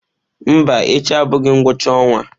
Mba echi abụghị ngwụcha ọnwa.